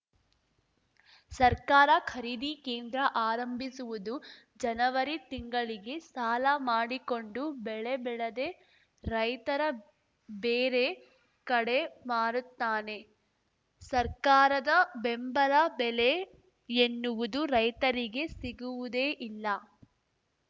ಸರ್ಕಾರ ಖರೀದಿ ಕೇಂದ್ರ ಆರಂಭಿಸುವುದು ಜನವರಿ ತಿಂಗಳಿಗೆ ಸಾಲ ಮಾಡಿಕೊಂಡು ಬೆಳೆ ಬೆಳೆದೆ ರೈತರ ಬೇರೆ ಕಡೆ ಮಾರುತ್ತಾನೆ ಸರ್ಕಾರದ ಬೆಂಬಲ ಬೆಲೆ ಎನ್ನುವುದು ರೈತರಿಗೆ ಸಿಗುವುದೇ ಇಲ್ಲ